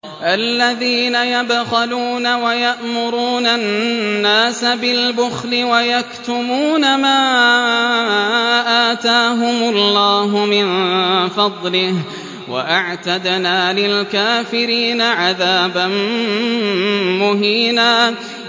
الَّذِينَ يَبْخَلُونَ وَيَأْمُرُونَ النَّاسَ بِالْبُخْلِ وَيَكْتُمُونَ مَا آتَاهُمُ اللَّهُ مِن فَضْلِهِ ۗ وَأَعْتَدْنَا لِلْكَافِرِينَ عَذَابًا مُّهِينًا